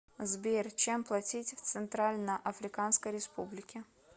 сбер чем платить в центральноафриканской республике